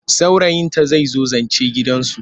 Saurayinta zai zo zance gidansu.